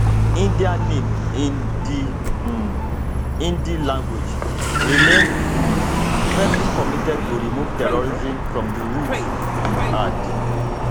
[india name in di um hindi language] remain um firmly committed to remove terrorism from id roots e add